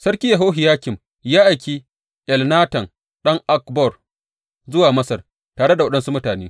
Sarki Yehohiyakim ya aiki Elnatan ɗan Akbor zuwa Masar, tare da waɗansu mutane.